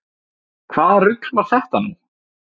Hvaða rugl var þetta nú?